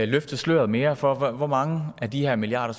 løfte sløret mere for hvor mange af de her milliarder